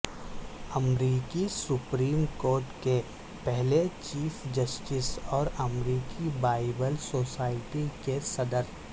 امریکی supreme court کے پہلے چیف جسٹس اور امریکی بائبل سوسائٹی کے صدر